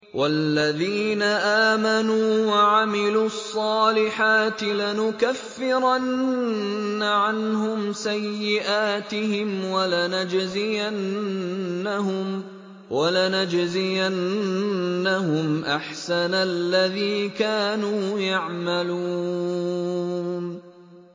وَالَّذِينَ آمَنُوا وَعَمِلُوا الصَّالِحَاتِ لَنُكَفِّرَنَّ عَنْهُمْ سَيِّئَاتِهِمْ وَلَنَجْزِيَنَّهُمْ أَحْسَنَ الَّذِي كَانُوا يَعْمَلُونَ